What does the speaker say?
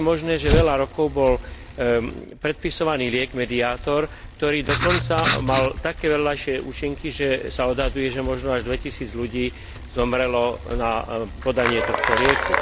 Ako je možné, že veľa rokov bol predpisovaný liek Mediator, ktorý dokonca mal také vedľajšie účinky, že sa odhaduje, že možno až dvetisíc ľudí zomrelo na podanie tohto lieku?